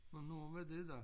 Hvornår var det da?